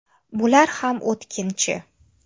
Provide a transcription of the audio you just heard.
Bular ham o‘tkinchi.